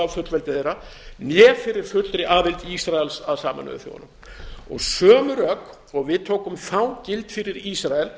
fullveldi þeirra né fyrir fullri aðild ísraels að sameinuðu þjóðunum sömu rök og við tókum þá gild fyrir ísrael